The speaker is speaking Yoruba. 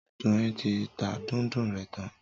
Doyin ti tá Dùndú rẹ tàn.